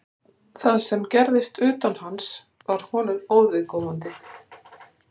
Það sem gerðist utan hans var honum óviðkomandi.